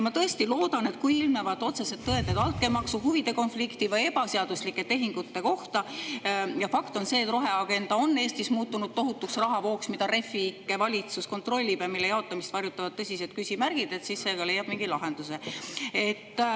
Ma tõesti loodan, et kui ilmnevad otsesed tõendid altkäemaksu, huvide konflikti või ebaseaduslike tehingute kohta – ja fakt on see, et roheagenda on Eestis muutunud tohutuks rahavooks, mida Refi ikke valitsus kontrollib ja mille jaotamist varjutavad tõsised küsimärgid –, siis see ikka leiab mingi lahenduse.